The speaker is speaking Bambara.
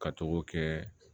Ka togo kɛ